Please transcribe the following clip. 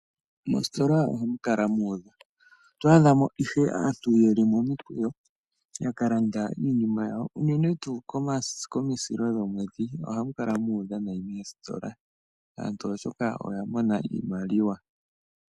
Mositola ohamu kala mu udha. Oto adhamo ihe aantu ye li momikweyo, yakalanda iinima yawo, unene tuu komisilo lyomwedhi, ohamu kala mu udha nayi moositola, aantu oshoka oya mona iimaliwa.